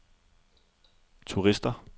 turister